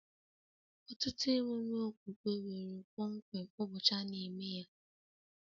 Ọtụtụ emume okpukpe nwere kpọmkwem ụbọchị a na-eme ya